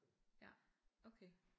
Ja okay